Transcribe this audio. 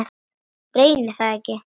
Reyni það ekki.